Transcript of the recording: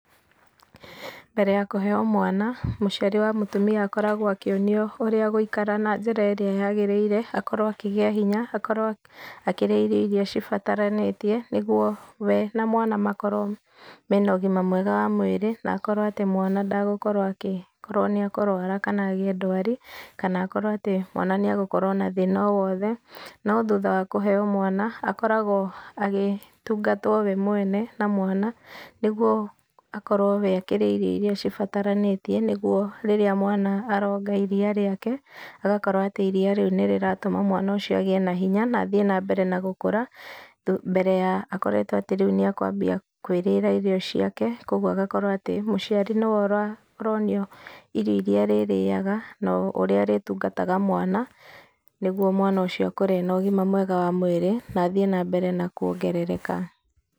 Mbere ya kũheo mwana, mũciari wa mũtumia akoragwo akĩonio ũrĩa agũikara na njĩra ĩrĩa yagĩrĩire akorwo akĩgĩa hinya, akorwo akĩrĩa irio iria cibataranĩtie nĩgũo we na mwana makorwo mena ũgima mwega wa mũĩri na akorwo atĩ mwana ndagũkorwo agĩkorwo nĩ ekũrwara kana agĩe ndwari, kana akorwo atĩ mwana nĩ agũkorwo na thĩna o wothe. No thutha wa kũheo mwana akoragwo agĩtungatwo we mwene na mwana nĩguo akorwo we akĩrĩa irio iria cibataranĩtie, nĩgũo rĩrĩa mwana aronga iria rĩake agakorwo atĩ iria rĩu nĩrĩtatũma mwana ũcio agĩe na hinya, na athĩe na mbere na gũkũra mbere ya akoretwo atĩ rĩu nĩ akwambia kũĩrĩra irio ciake ũguo agakorwo atĩ, mũciari nĩwe ũronio irio iria arĩrĩaga na ũrĩa arĩtungataga mwana, nĩguo mwana ũcio akũre ena ũgima mwega wa mwĩrĩ, na athĩe na mbere na kũongerereka.